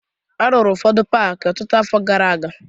A rụrụ ụfọdụ paakị ọtụtụ afọ gara aga